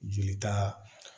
Jeli ta